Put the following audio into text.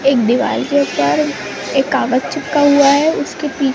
एक दीवार के ऊपर एक कागज चिपका हुआ है उसके पी--